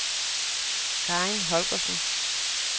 Karin Holgersen